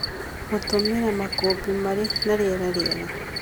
Gũtũmĩra makũmbĩ marĩ na rĩera rĩega,